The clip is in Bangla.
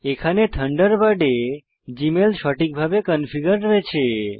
এখানে থান্ডারবার্ডে জীমেল সঠিকভাবে কনফিগার রয়েছে